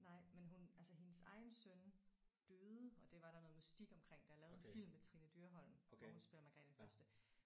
Nej men hun altså hendes egen søn døde og det var der noget mystik omkring der er lavet en film med Trine Dyrholm hvor hun spiller Margrethe den første